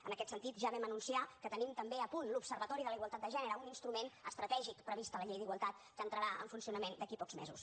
en aquest sentit ja vam anunciar que tenim també a punt l’observatori de la igualtat de gènere un instrument estratègic previst a la llei d’igualtat que entrarà en funcionament d’aquí a pocs mesos